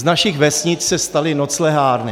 Z našich vesnic se staly noclehárny.